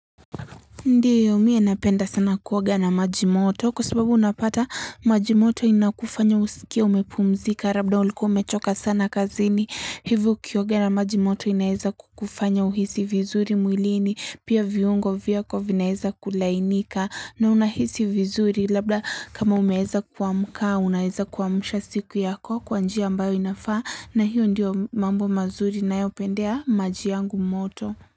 Ndiyo mie napenda sana kuoga na maji moto kwa sababu unapata maji moto inakufanya usikie umepumzika rabda ulikuwa umechoka sana kazini hivo ukioga na maji moto inaeza kukufanya uhisi vizuri mwilini pia viungo vyako vinaeza kulainika na unahisi vizuri labda kama umeeza kuamka unaeza kuamusha siku yako kwa njia ambayo inafaa na hiyo ndiyo mambo mazuri ninayo pendea maji yangu moto.